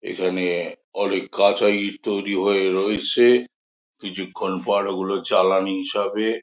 এখানে অনেক কাঁচা ইট তৈরি হয়ে রয়েছে কিছুক্ষন পর ঐগুলো চালানি হিসাবে।